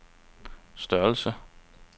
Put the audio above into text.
størrelse